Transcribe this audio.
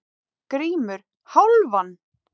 GRÍMUR: Hálfan!